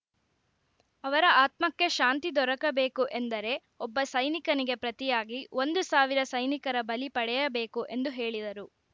ಅವರ ಆತ್ಮಕ್ಕೆ ಶಾಂತಿ ದೊರಕಬೇಕು ಎಂದರೆ ಒಬ್ಬ ಸೈನಿಕನಿಗೆ ಪ್ರತಿಯಾಗಿ ಒಂದು ಸಾವಿರ ಸೈನಿಕರ ಬಲಿ ಪಡೆಯಬೇಕು ಎಂದು ಹೇಳಿದರು